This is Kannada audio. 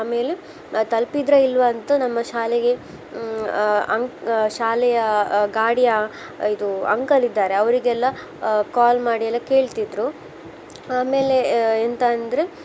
ಆಮೇಲೆ ತಲ್ಪಿದ್ರಾ ಇಲ್ವಾ ಅಂತ ನಮ್ಮ ಶಾಲೆಗೆ ಆ ಆ ಅಂಕ್~ ಶಾಲೆಯ ಗಾಡಿಯ ಇದು uncle ಇದ್ದಾರೆ ಅವ್ರಿಗೆಲ್ಲಾ ಆ call ಮಾಡಿ ಎಲ್ಲಾ ಕೇಳ್ತಿದ್ರು. ಆಮೇಲೆ ಆ ಎಂತ್ ಅಂದ್ರೆ